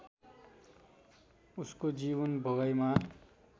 उसको जीवन भोगाइमा